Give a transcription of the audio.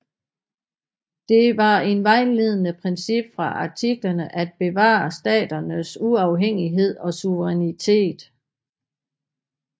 Det var et vejledende princip fra Artiklerne at bevare staternes uafhængighed og suverænitet